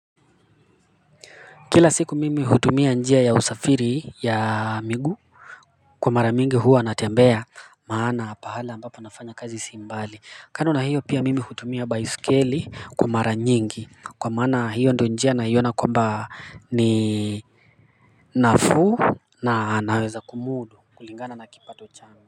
Kila siku mimi hutumia njia ya usafiri ya miguu kwa mara mingi huwa natembea maana pahala ambapo ninafanya kazi si mbali. Kando na hiyo mimi hutumia baiskeli kwa mara nyingi kwa maana hiyo ndiyo njia naiona kwamba ni nafuu na ninaweza kumudu kulingana na kipato changu.